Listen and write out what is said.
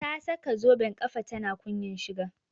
Ta saka zoben kafa tana kunyan shiga